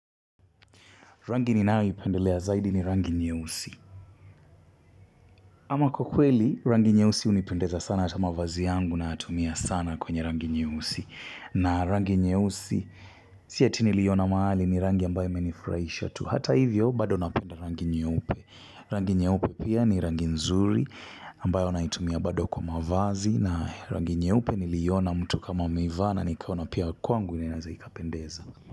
Rangi ni nayoipendelea zaidi ni rangi nyeusi. Ama kwa kweli, rangi nyeusi hunipendeza sana ata mavazi yangu nayatumia sana kwenye rangi nyeusi. Na rangi nyeusi si eti niliiona mahali ni rangi ambayo imenifurahisha tu. Hata hivyo, bado napenda rangi nyeupe. Rangi nyeupe pia ni rangi nzuri ambayo naitumia bado kwa mavazi. Na rangi nyeupe niliiona mtu kama ameivaa na nikaona kwangu pia inaweza ikapendeza.